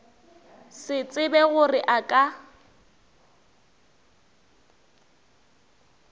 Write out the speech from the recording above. se tsebe gore a ka